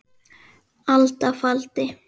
alda faldi